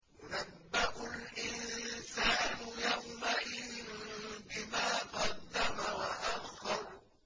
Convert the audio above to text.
يُنَبَّأُ الْإِنسَانُ يَوْمَئِذٍ بِمَا قَدَّمَ وَأَخَّرَ